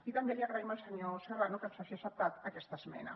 i també li agraïm al senyor serrano que ens hagi acceptat aquesta esmena